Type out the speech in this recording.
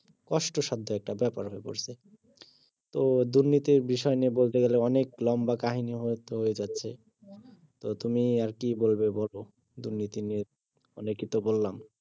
কষ্টসাধ্য একটা বেপার হয়ে পড়ছে তো দুর্নীতির বিষয় নিয়ে বলতে গেলে অনেক লম্বা কাহিনী হয়ে হয়ে যাচ্ছে এটা নিয়ে আর কি বলবো বলো দুর্নীতি নিয়ে অনেকই তো বললাম